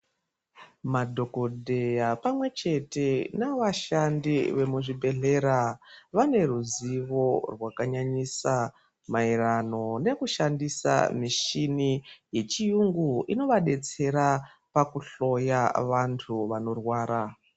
Madhokodheya pamwechete nevashandi vemuzvibhedhlera vane ruzivo rwakanyanyisa maererano nekushandisa michini yechiyungu inovabetsera, pakuhloya vantu vanorwara.